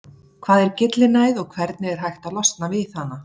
Hvað er gyllinæð og hvernig er hægt að losna við hana?